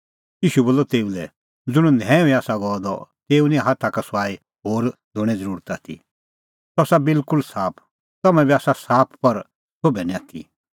ईशू बोलअ तेऊ लै ज़ुंण न्हैऊई आसा गअ द तेऊ निं हाथा का सुआई होर धोणें ज़रुरत आथी सह आसा बिलकुल साफ तम्हैं बी आसा साफ पर सोभै निं आथी